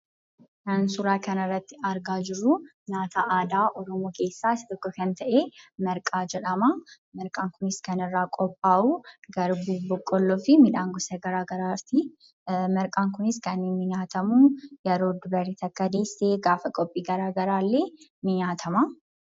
Kan suuraa kana irratti argaa jirru nyaata aadaa Oromoo keessaa tokko kan ta'e marqaa jedhama. Marqaan kunis kan irraa qophaa'u garbuu, boqolloo fi midhaan gosa garagaraati. Marqaan kunis kan nyaatamu yeroo dubartiin takka deesse, yeroo qophii garaa garaa illee ni nyaatama.